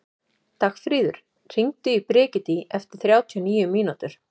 Dagfríður, hringdu í Brigiti eftir þrjátíu og níu mínútur.